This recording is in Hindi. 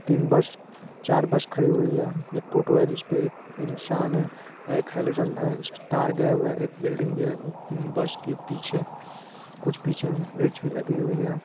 तीन बस चार बस खड़ी हुई है एक टोटो है जिसपे एक इन्सान है एक हेलोज़न है इस- तार गया हुआ है एक बिल्डिंग भी है बस के पीछे कुछ पीछे बेंच लगी हुई है।